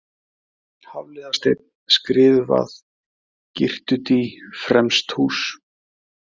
Hafliðasteinn, Skriðuvað, Girtudý, Fremsthús